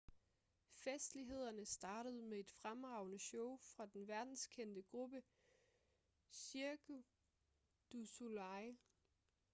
festlighederne startede med et fremragende show fra den verdenskendte gruppe cirque du soleil